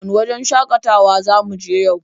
Wane wajen shakatawa za mu je yau?